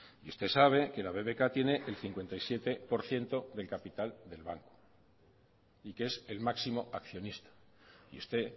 y usted sabe que la bbk tiene el cincuenta y siete por ciento del capital del banco y que es el máximo accionista y usted